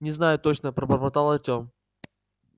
не знаю точно пробормотал артем